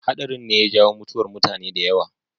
Haɗarin ne ya jawo mutuwar mutane da yawa.